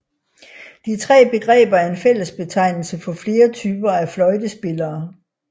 De tre begreber er en fællesbetegnelser for flere typer af fløjtespillere